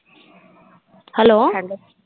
Hello